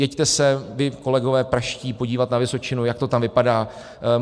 Jeďte se, vy kolegové pražští, podívat na Vysočinu, jak to tam vypadá.